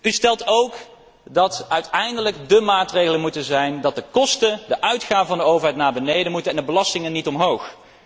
U stelt ook dat uiteindelijk de maatregelen erin moeten bestaan dat de kosten, de uitgaven van de overheid, naar beneden gaan en de belastingen niet omhoog.